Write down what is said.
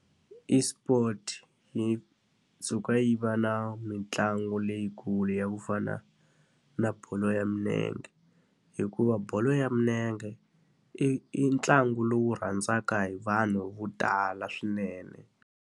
eSport yi suka yi va na mitlangu leyikulu ya ku fana na bolo ya milenge. Hikuva bolo ya milenge i i ntlangu lowu rhandzaka hi vanhu vo tala swinene.